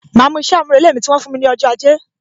Ma mú isẹ amurele mi, tí wọn fún mi ní ọjọ́ ajé